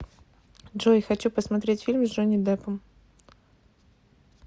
джой хочу посмотреть фильм с джонни депом